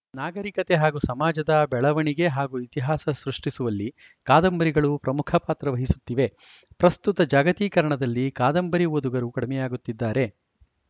ನಾಗರಿಕತೆ ಹಾಗೂ ಸಮಾಜದ ಬೆಳಗವಣಿಗೆ ಹಾಗೂ ಇತಿಹಾಸ ಸೃಷ್ಠಿಸುವಲ್ಲಿ ಕಾದಂಬರಿಗಳು ಪ್ರಮುಖ ಪಾತ್ರ ವಹಿಸುತ್ತಿವೆ ಪ್ರಸ್ತುತ ಜಾಗತೀಕರಣದಲ್ಲಿ ಕಾದಂಬರಿ ಓದುಗರು ಕಡಿಮೆಯಾಗುತ್ತಿದ್ದಾರೆ